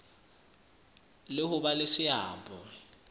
le ho ba le seabo